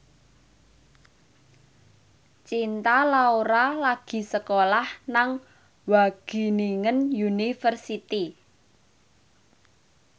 Cinta Laura lagi sekolah nang Wageningen University